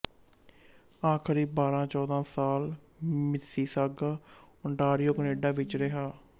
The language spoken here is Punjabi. ਆਖਰੀ ਬਾਰਾਂ ਚੌਦਾਂ ਸਾਲ ਮਿਸੀਸਾਗਾ ਓਨਟਾਰੀਓ ਕੈਨੇਡਾ ਵਿੱਚ ਰਿਹਾ